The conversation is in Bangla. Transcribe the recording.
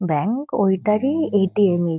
ব্যাঙ্ক ওইটারই এ.টি.এম. এ--